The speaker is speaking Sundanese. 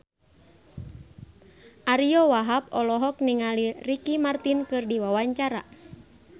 Ariyo Wahab olohok ningali Ricky Martin keur diwawancara